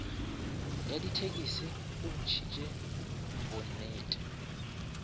ya dithekisi bo bontšhitše bonnete